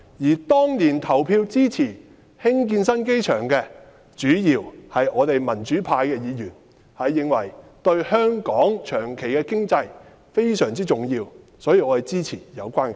而當年投票支持興建新機場的，主要是我們民主派的議員，因為我們認為興建新機場對香港長遠的經濟非常重要，所以支持有關的計劃。